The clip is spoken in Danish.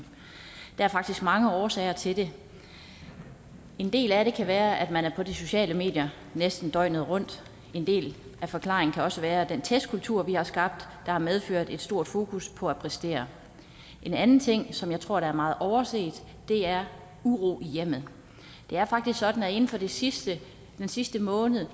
der er faktisk mange årsager til det en del af det kan være at man er på de sociale medier næsten døgnet rundt en del af forklaringen kan også være den testkultur vi har skabt har medført et stort fokus på at præstere en anden ting som jeg tror er meget overset er uro i hjemmet det er faktisk sådan at inden for den sidste sidste måned